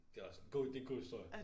Det også god det en god historie